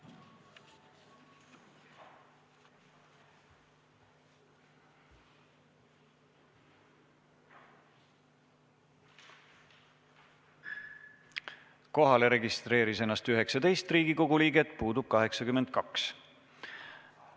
Kohaloleku kontroll Kohalolijaks registreeris ennast 19 Riigikogu liiget, puudub 82.